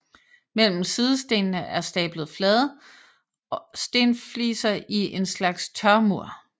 Mellem sidestenene er stablet flade stenfliser i en slags tørmur